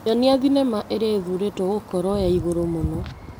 Nyonia thinema ĩrĩa ĩthuthurĩtio gũkorwo ya igũrũ mũno .